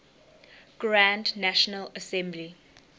grand national assembly